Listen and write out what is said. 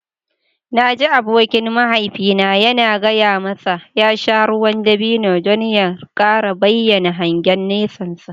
Na ji abokin mahaifina yana gaya masa ya sha ruwan dabino don ya kara bayyana hangen nesansa.